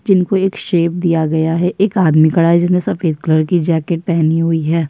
जिनको एक शेप दिया गया है। एक आदमी खड़ा है जिसने सफ़ेद कलर की जैकेट पहनी हुई है।